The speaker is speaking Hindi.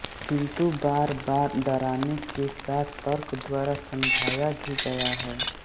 किन्तु बारबार डराने के साथ तर्क द्वारा समझाया भी गया है